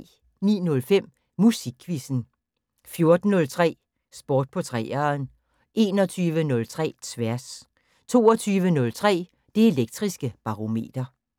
09:05: Musikquizzen 14:03: Sport på 3'eren 21:03: Tværs 22:03: Det Elektriske Barometer